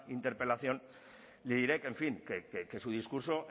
interpelación le diré que en fin que su discurso